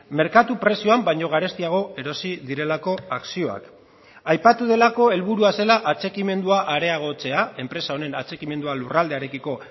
merkatu prezioan baino garestiago erosi direlako akzioak aipatu delako helburua zela atxikimendua areagotzea enpresa honen atxikimendua lurraldearekiko